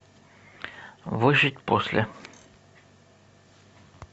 выжить после